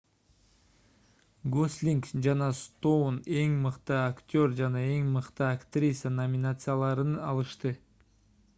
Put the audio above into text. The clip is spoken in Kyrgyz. гослинг жана стоун эң мыкты актер жана эң мыкты актриса номинацияларын алышты